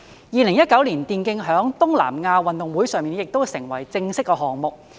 2019年，電競在東南亞運動會上成為正式項目。